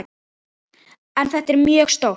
En þetta er mjög stórt.